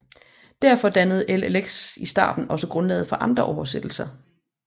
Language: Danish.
Derfor dannede LXX i starten også grundlaget for andre oversættelser